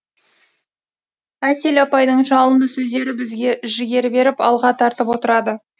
әсел апайдың жалынды сөздері бізге жігер беріп алға тартып отырады